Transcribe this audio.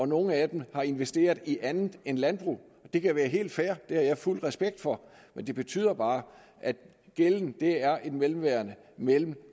nogle af dem har investeret i andet end landbrug det kan være helt fair det har jeg fuld respekt for men det betyder bare at gælden er et mellemværende mellem